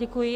Děkuji.